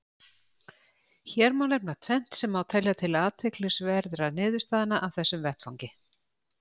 Hér má nefna tvennt sem má telja til athyglisverðra niðurstaðna af þessum vettvangi.